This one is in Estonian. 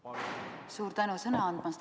Suur tänu sõna andmast!